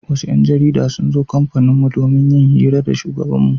Wasu 'yan jarida sun zo kamfaninmu don yin hira da shugabanmu.